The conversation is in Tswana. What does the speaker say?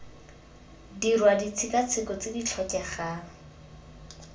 dirwa ditshekatsheko tse di tlhokegang